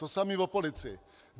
To samé o policii.